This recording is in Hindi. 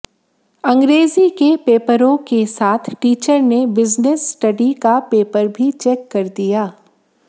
अंग्रेजी के पेपरों के साथ टीचर ने बिजनेस स्टडी का पेपर भी चैक कर दिया